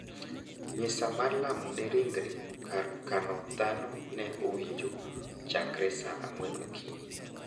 Misa mar lamo ne ringre kar kano dhano ne owinjo chakre sa ang`wen okinyi.